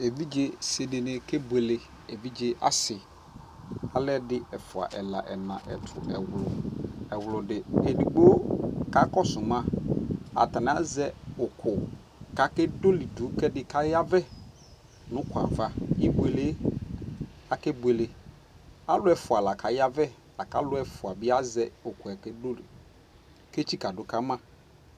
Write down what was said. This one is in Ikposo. ɛvidzɛ si dini kɛ bʋɛlɛ ,ɛvidzɛ asii, alɛdi ɛƒʋa ɛla ɛna ɛtʋ ɛwlʋ ɛwlʋdi, ɛdigbɔ kakɔsʋ ma atani azɛ ʋkʋ kʋ akɛ dɔlidʋ kʋ ayavɛ nʋʋkʋɛ aɣa, ibʋɛlɛ kʋ akɛ bʋɛlɛ , alʋ ɛƒʋa lakaya vɛ lakʋ alʋɛ ɛƒʋa bi azɛ ʋkʋɛ kʋɛtsika dʋkama